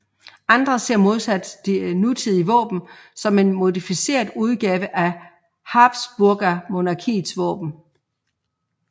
Andre ser modsat det nutidige våben som en modificeret udgave af habsburgermonarkiets våben